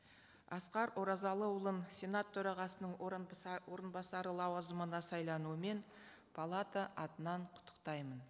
асқар оразалыұлын сенат төрағасының орынбасары лауазымына сайлануымен палата атынан құттықтаймын